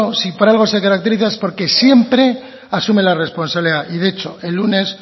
si por algo se caracteriza es porque siempre asume la responsabilidad y de hecho el lunes